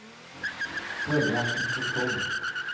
förra instruktion